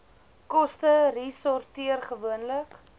koste resorteer gewoonlik